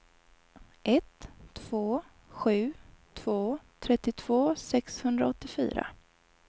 ett två sju två trettiotvå sexhundraåttiofyra